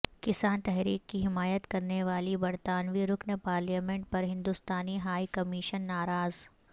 کسان تحریک کی حمایت کرنے والی برطانوی رکن پارلیمنٹ پر ہندوستانی ہائی کمیشن ناراض